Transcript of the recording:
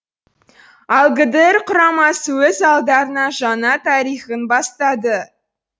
ал гдр құрамасы өз алдарына жаңа тарихын бастады